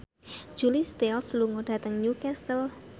Julia Stiles lunga dhateng Newcastle